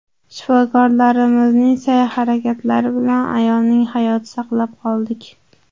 Shifokorlarimizning sa’y-harakatlari bilan ayolning hayotini saqlab qoldik.